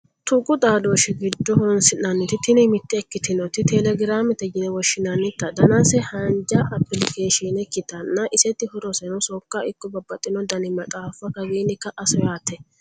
tuqu xaadooshshi giddo horonsi'nanniti tini mitte ikkitinoti telegraamete yine woshshinanniti danase haanja apilikeeshiine ikkitanna, iseti horoseno sokka ikko babbaxino dani maxaaffano kawiinni ka'a soyaate.